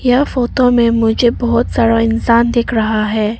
यह फोटो में मुझे बहुत सारा इंसान दिख रहा है।